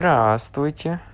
здравствуйте